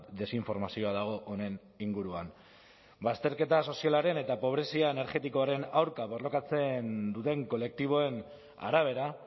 desinformazioa dago honen inguruan bazterketa sozialaren eta pobrezia energetikoaren aurka borrokatzen duten kolektiboen arabera